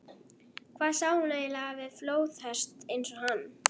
Hvað sá hún eiginlega við flóðhest eins og hann?